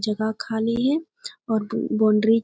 जगह खाली है और बॉउंड्री --